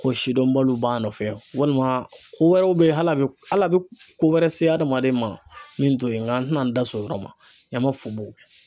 Ko sidɔnbaliw b'an nɔfɛ walima ko wɛrɛw bɛ yen hali a bɛ hali a bɛ ko wɛrɛ se hadamaden ma min to yen n ka an tɛna da so yɔrɔ ma ɲama fu b'o kɛ.